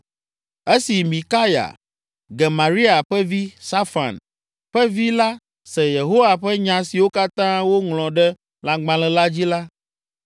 Esi Mikaya, Gemaria ƒe vi, Safan ƒe vi la se Yehowa ƒe nya siwo katã woŋlɔ ɖe lãgbalẽ la dzi la,